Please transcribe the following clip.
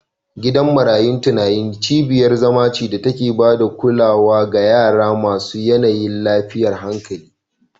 Gidan marayun tunani cibiyar zama ce da ke ba da kulawa ga yara masu yanayin lafiyar hankali